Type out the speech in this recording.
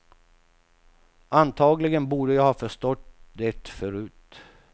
Antagligen borde jag ha förstått det förut.